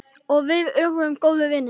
Og við urðum góðir vinir.